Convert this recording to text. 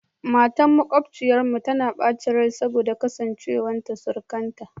Matar makwabciyarmu tana bacin rai saboda kasancewar surukanta